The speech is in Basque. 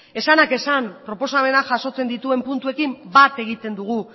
esanak esan proposamenak jasotzen dituen puntuekin bat egiten dugu